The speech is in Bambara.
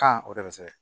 o de bɛ se ka